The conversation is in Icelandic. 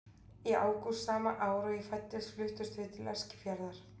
Í ágúst sama ár og ég fæddist fluttumst við til Eskifjarðar.